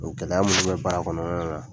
gɛlɛya minnu bɛ bara kɔnɔna la